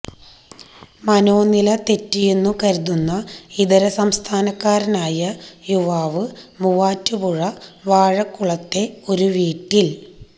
മനോനില തെറ്റിയതെന്നു കരുതുന്ന ഇതര സംസ്ഥാനക്കാരനായ യുവാവ് മൂവാറ്റുപുഴ വാഴക്കുളത്തെ ഒരു വീട്ടിൽ